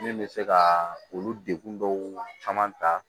Min bɛ se ka olu degun dɔw caman ta